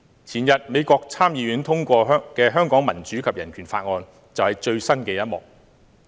前天，美國參議院通過的《香港民主及人權法案》就是最新的一幕。